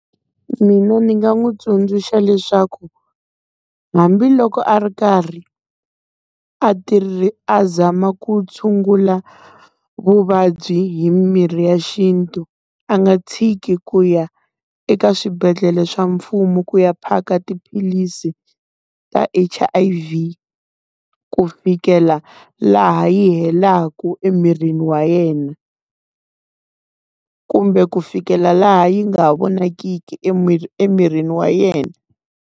Mina ni nga n'wi tsundzuxa leswaku hambiloko a ri karhi a a zama ku tshungula vuvabyi hi mirhi ya xintu a nga tshiki ku ya eka swibedhlele swa mfumo ku ya phaka tiphilisi ta H_I_V, ku fikela laha yi helaku emirini wa yena. Kumbe ku fikela laha yi nga ha vonakiki emirini wa yena.